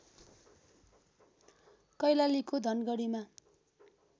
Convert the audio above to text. कैलालीको धनगढीमा